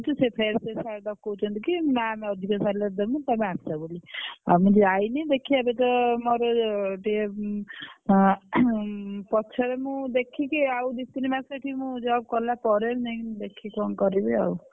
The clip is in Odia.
ମୁଁ କହୁଛି ଫେରେ ସେ sir ଡକଉଛନ୍ତି କି ma'am ଅଧିକ salary ଦେବି ତମେ ଆସ ବୋଲି ଆଉ ମୁଁ ଯାଇନି ଦେଖିଆ କେତେ ମୋର ଟିକେ ଆଁ ପଛରେ ମୁଁ ଦେଖିକି ଆଉ ଦି ତିନ ମାସେ ଏଠି ମୁଁ job କଲା ପରେ ଯାଇକି ମୁଁ ଦେଖିକି କଣ କରିବି ଆଉ।